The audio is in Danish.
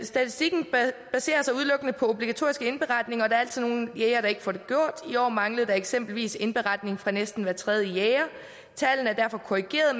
statistikken baserer sig udelukkende på de obligatoriske indberetninger og der er altid nogle jægere der ikke får det gjort i år manglede der eksempelvis indberetninger fra næsten hver tredje jæger tallene er derfor korrigeret